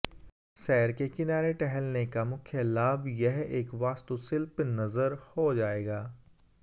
सैर के किनारे टहलने का मुख्य लाभ यह एक वास्तुशिल्प नज़र हो जाएगा